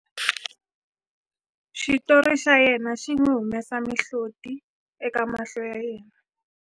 xitori xa yena xi n'wi humesa mihloti eka mahlo ya yena